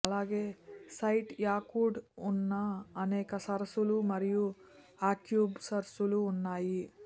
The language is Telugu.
అలాగే సైట్ యాకుట్ ఉన్న అనేక సరస్సులు మరియు ఆక్స్బౌ సరస్సులు ఉన్నాయి